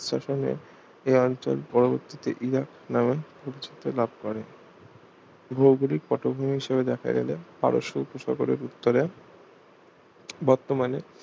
শাসনে ইহ অঞ্চল পরবর্তীতে ইরাক নামে পরিচিতি লাভ করে ভৌগলিক পটভূমি হিসাবে দেখা গেলে পারস্য উপসাগরের উত্তরে বর্তমানে